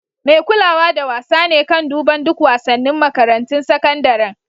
Mai kulawa da wasa ne kan duban duk wasanin makarantun sakandaren.